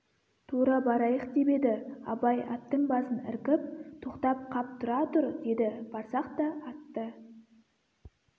тура барайық деп еді абай аттың басын іркіп тоқтап қап тұра тұр деді барсақ та атты